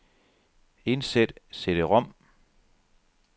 Indsæt cd-rom.